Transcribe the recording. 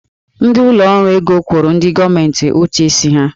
Ndị ụlọ ọrụ ego kwụrụ ndị gọọmentị ụtụ isi ha.